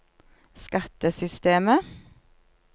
skattesystemet